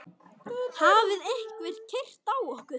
Hafði einhver keyrt á okkur?